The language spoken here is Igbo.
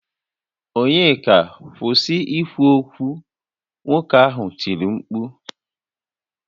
Onyeka kwusi ikwu okwu! Nwoke ahụ tiri mkpu